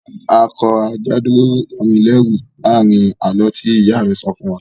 A kọ "Ajá dúró rán mi lẹẹru" láàrin àlọ́ tí ìyá mi sọ fún wa